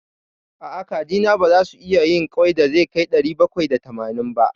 A'a, kajina baza su iya yin ƙwai da zai kai ɗari bakwai da tamanin ba.